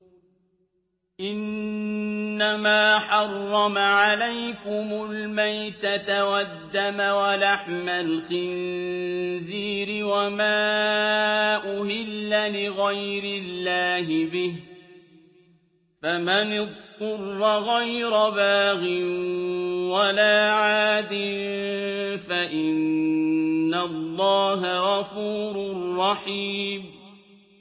إِنَّمَا حَرَّمَ عَلَيْكُمُ الْمَيْتَةَ وَالدَّمَ وَلَحْمَ الْخِنزِيرِ وَمَا أُهِلَّ لِغَيْرِ اللَّهِ بِهِ ۖ فَمَنِ اضْطُرَّ غَيْرَ بَاغٍ وَلَا عَادٍ فَإِنَّ اللَّهَ غَفُورٌ رَّحِيمٌ